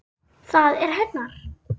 Það er hennar.